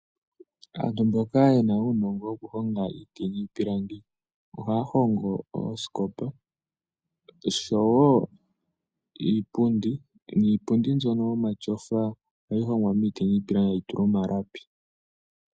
Aantu mboka yena uunongo wokuhonga iiti niipilangi ohaya hongo oosikopa oshowo iipundi niipundi nbyono omatyofa ohayi hongwa miiti niipilangi etayi tulwa omalapi.